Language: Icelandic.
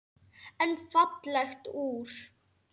En fallegt úr.